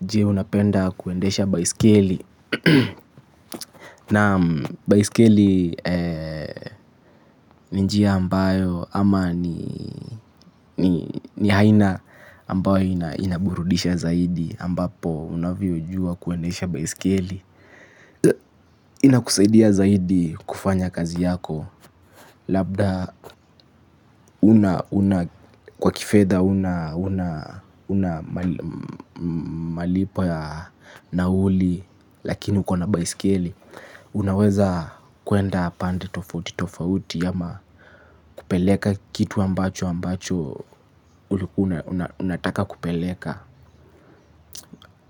Jee unapenda kuendesha baiskeli. Naam baiskeli. Ni njia ambayo ama ni ni aina ambayo inaburudisha zaidi ambapo unavyojua kuendesha baiskeli. Inakusaidia zaidi kufanya kazi yako. Labda una kwa kifedha. Huna malipo ya nauli. Lakini uko na baiskeli. Unaweza kuenda pande tofautitofauti ama kupeleka kitu ambacho ambacho unataka kupeleka.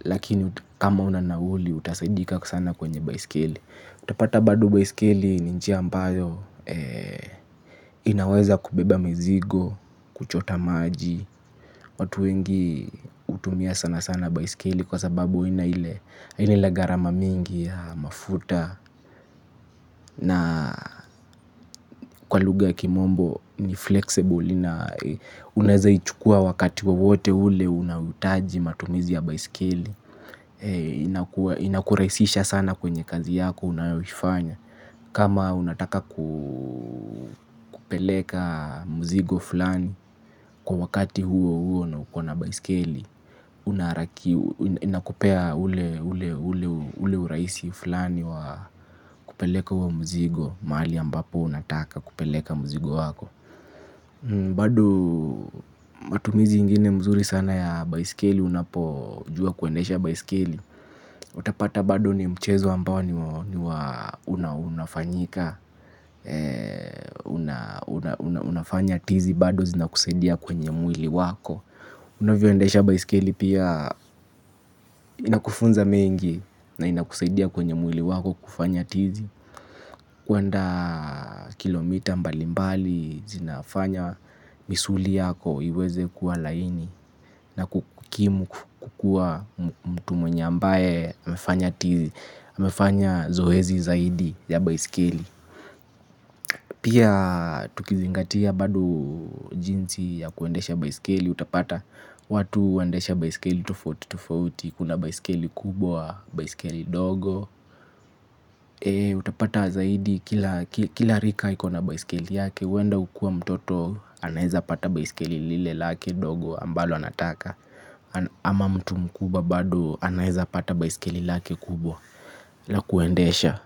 Lakini kama huna nauli utasaidika sana kwenye baiskeli. Utapata bado baiskeli ni njia ambayo inaweza kubeba mizigo, kuchota maji. Watu wengi hutumia sana sana baiskeli kwa sababu haina ile haina ile gharama mingi ya mafuta na kwa lugha ya kimombo ni flexible. Unawezaichukua wakati kwa wowote ule unahitaji matumizi ya baiskeli. Inakurahisisha sana kwenye kazi yako unayoifanya. Kama unataka kupeleka mzigo fulani kwa wakati huohuo na uko na baiskeli. Inakupea ule urahisi fulani wa kupeleka huo mzigo mali ambapo unataka kupeleka mzigo wako. Bado matumizi ingine mzuri sana ya baiskeli. Unapojua kuendesha baiskeli. Utapata bado ni mchezo ambao ni unafanyika. Unafanya tizi bado zinakusaidia kwenye mwili wako. Unavyoendesha baiskeli pia inakufunza mengi na inakusaidia kwenye mwili wako kufanya tizi. Kuandaa kilomita mbalimbali zinafanya misuli yako iweze kuwa laini. Na kukimu kukua mtu mwenye ambaye amefanya zoezi zaidi ya baiskeli. Pia tukizingatia bado jinsi ya kuendesha baiskeli utapata. Watu huendesha baiskeli tofautitofauti, kuna baiskeli kubwa, baiskeli ndogo. Utapata zaidi kila rika iko na baiskeli yake huenda ukua mtoto anaezapata baiskeli lile lake dogo ambalo anataka. Ama mtu mkubwa bado anaeza pata baiskeli lake kubwa la kuendesha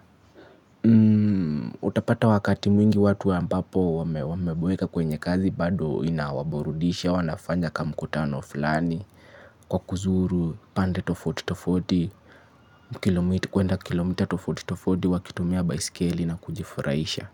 utapata wakati mwingi watu ambapo wameboeka kwenye kazi bado inawaburudisha. Wanafanya kamkutano fulani. Kwa kuzuru pande tofautitofauti. Kuenda kilomita tofauti tofauti wakitumia baiskeli na kujifurahisha.